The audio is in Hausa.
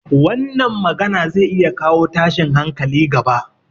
Wannan magana zai iya kawo tashin hankali gaba